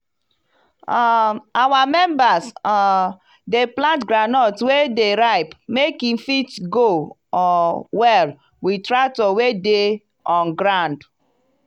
um our members um dey plant groundnut wey dey ripe make e fit go um well with tractor wey dey on ground.